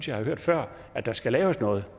jeg har hørt før at der skal laves noget